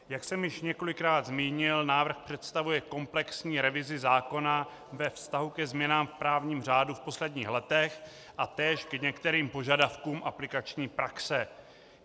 Jak jsem již několikrát zmínil, návrh představuje komplexní revizi zákona ve vztahu ke změnám v právním řádu v posledních letech a též k některým požadavkům aplikační praxe.